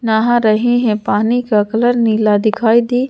नहा रहे हैं पानी का कलर नीला दिखाई दे--